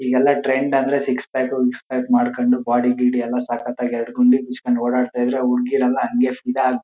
ಈಗೆಲ್ಲ ಟ್ರೆಂಡ್ ಅಂದ್ರೆ six pack ಪಿ ಕ್ಸ್ ಪ್ಯಾಕು ಮಾಡ್ಕೊಂಡ್ ಬಾಡಿ ಗೀಡಿ ಎಲ್ಲ ಸಕ್ಕತಾಗಿ ಎರಡು ಗುಂಡಿ ಬೀಚ್ ಕೊಂಡು ಓಡಾಡತ ಇದ್ರೆ ಹುಡ್ಗಿರೆಲ್ಲ ಹಂಗೆ ಫಿದಾ--